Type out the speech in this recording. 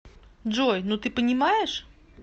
джой ну ты понимаешь